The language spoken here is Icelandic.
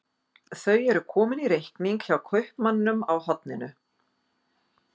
Þau eru komin í reikning hjá kaupmanninum á horninu.